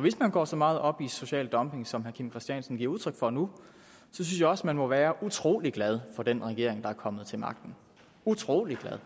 hvis man går så meget op i social dumping som herre kim christiansen giver udtryk for nu synes jeg også man må være utrolig glad for den regering der er kommet til magten utrolig glad